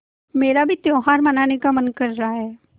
मेरा भी त्यौहार मनाने का मन कर रहा है